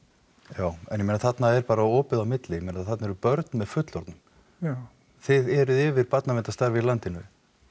já en ég meina þarna er bara opið á milli ég meina þarna eru börn með fullorðnum já þið eruð yfir barnaverndarstarfi í landinu